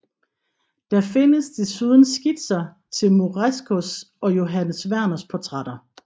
Der findes desuden skitser til Morescos og Johannes Werners portrætter